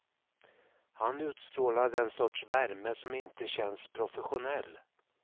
Han utstrålar den sorts värme som inte känns professionell.